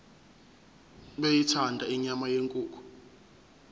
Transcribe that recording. beyithanda inyama yenkukhu